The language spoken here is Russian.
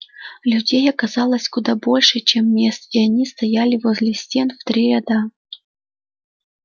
людей оказалось куда больше чем мест и они стояли возле стен в три ряда